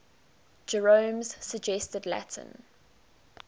jerome's suggested latin